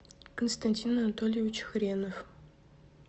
константин анатольевич хренов